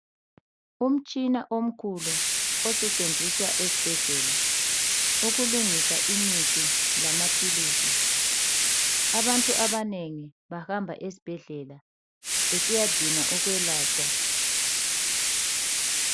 Umtshina omkhulu, osetshenziswa esibhedlela. Ukulungisa imithi lamaphilisi. Abantu abanengi bahamba esibhedlela, besiyadinga ukwelatshwa.